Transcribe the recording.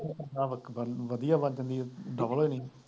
ਇਹਦਾ ਮਤਲਬ ਵਧੀਆ ਬਣ ਜਾਂਦੀ ਹੈ, double